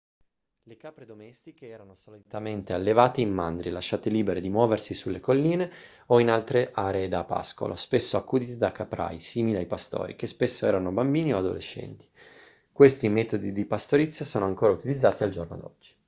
le capre domestiche erano solitamente allevate in mandrie lasciate libere di muoversi sulle colline o in altre aree da pascolo spesso accudite da caprai simili ai pastori che spesso erano bambini o adolescenti. questi metodi di pastorizia sono ancora utilizzati al giorno d'oggi